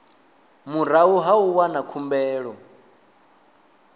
murahu ha u wana khumbelo